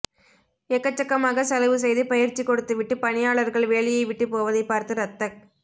எக்கச்சக்கமாகச் செலவு செய்து பயிற்சி கொடுத்துவிட்டுப் பணியாளர்கள் வேலையைவிட்டு போவதைப் பார்த்து ரத்தக்